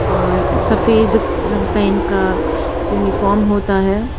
और सफेद रंग का इनका यूनिफॉर्म होता हैं।